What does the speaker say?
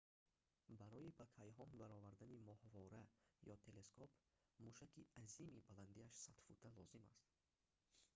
барои ба кайҳон баровардани моҳвора ё телескоп мушаки азими баландияш 100 фута лозим аст